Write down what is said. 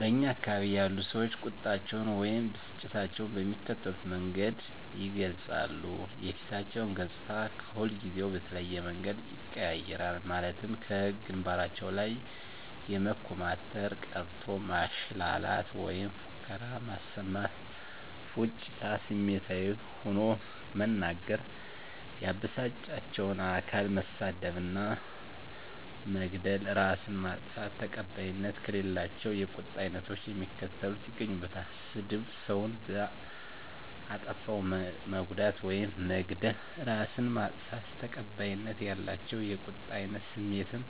በእኛ አካባቢ ያሉ ሰዎች ቁጣቸውን ወይም ብስጭታቸውን በሚከተሉት መንገድ ይገልጻሉ:- የፊታቸው ገፅታ ከሁልጊዜው በተለየ መንገድ ይቀያየራል ማለትም ከግንባራቸው ላይ የመኮማተር፤ ቀረርቶ ማሽላላት ወይም ፉከራ ማሰማት፤ ፉጭታ፤ ስሜታዊ ሆኖ መናገር፤ ያበሳጫቸውን አካል መሳደብ እና መግደል፤ እራስን ማጥፋት። ተቀባይነት ከሌላቸው የቁጣ አይነቶች የሚከተሉት ይገኙበታል -ስድብ፤ ሰውን በአጠፋው መጉዳት ውይም መግደል፤ እራስን ማጥፋት። ተቀባይነት ያላቸው የቁጣ አይነት ስሜትን